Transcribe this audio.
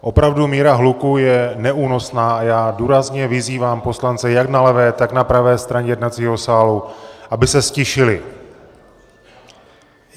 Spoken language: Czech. Opravdu míra hluku je neúnosná a já důrazně vyzývám poslance jak na levé, tak na pravé straně jednacího sálu, aby se ztišili.